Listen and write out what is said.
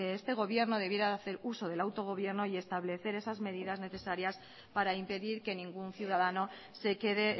este gobierno debería hacer uso del autogobierno y establecer esas medidas necesarias para impedir que ningún ciudadano se quede